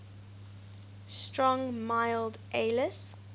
strong mild ales